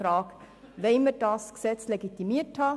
Wollen wir dieses Gesetz legitimiert haben?